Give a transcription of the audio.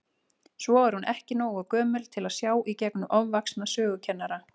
Svo er hún ekki nógu gömul til að sjá í gegnum ofvaxna sögukennara.